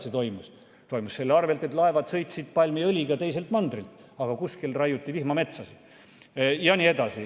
See toimus selle arvelt, et laevad sõitsid palmiõliga siia teiselt mandrilt, kuskil raiuti vihmametsasid jne.